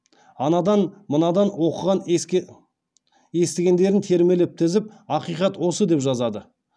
анадан мынадан оқыған естігендерін термелеп тізіп ақиқат осы деп жазады